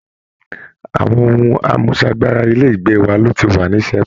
Àwọn ohun àmúṣagbára Ilé ìgbé wa ló ti wà ní sẹpẹ́